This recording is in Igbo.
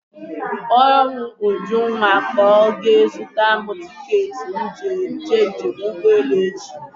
Kpọrọ m Ujunwa ka ọ jee zụtara m tiketi m ji eme njem ụgbọelu echi.